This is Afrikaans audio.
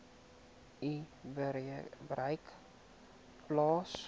u bereik plaas